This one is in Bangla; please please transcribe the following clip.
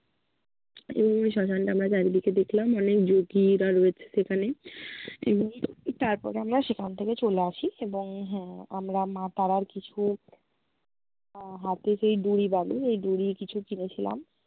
এভাবে শ্মশান টা আমরা চারিদিকে দেখলাম। অনেক যোগীরা রয়েছে সেখানে। এবং তারপরে আমরা সেখান থেকে চলে আসি এবং হম আমরা মা তারার কিছু আহ হাতে যেই ডুরি বাঁধে, সেই ডুরি কিছু কিনেছিলাম।